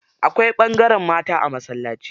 Akwai ɓangaren mata a masallaci.